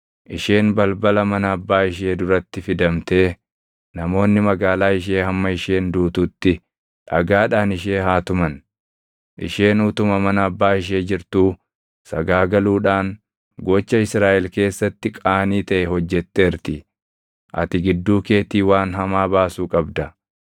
isheen balbala mana abbaa ishee duratti fidamtee namoonni magaalaa ishee hamma isheen duututti dhagaadhaan ishee haa tuman; isheen utuma mana abbaa ishee jirtuu sagaagaluudhaan gocha Israaʼel keessatti qaanii taʼe hojjetteerti. Ati gidduu keetii waan hamaa baasuu qabda.